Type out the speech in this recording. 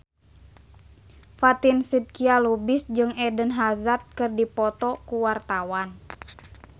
Fatin Shidqia Lubis jeung Eden Hazard keur dipoto ku wartawan